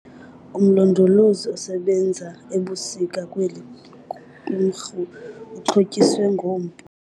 Umlondolozi osebenza ebusika kweli qumrhu uxhotyiswe ngompu.